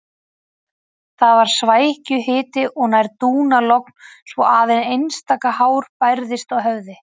Það var svækjuhiti og nær dúnalogn svo aðeins einstaka hár bærðist á höfði.